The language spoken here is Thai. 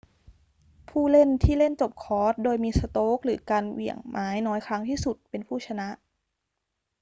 ผู้เล่นที่เล่นจบคอร์สโดยมีสโตรกหรือการเหวี่ยงไม้น้อยครั้งที่สุดเป็นผู้ชนะ